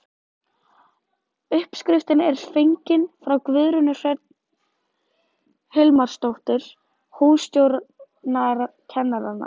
Uppskriftin er fengin frá Guðrúnu Hrönn Hilmarsdóttur hússtjórnarkennara.